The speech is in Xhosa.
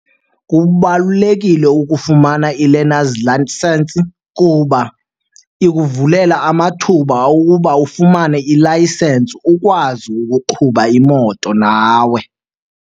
Kubalulekile ukufumana i-learners license kuba ikuvulela amathuba okuba ufumane i-license ukwazi ukuqhuba imoto nawe.